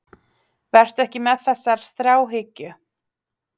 Vertu ekki með þessa þráhyggju.